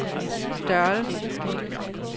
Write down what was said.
størrelse